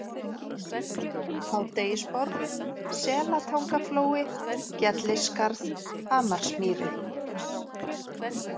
Hádegisborg, Selatangaflói, Gellisskarð, Hamarsmýri